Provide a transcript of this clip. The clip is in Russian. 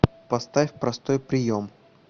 поставь простой прием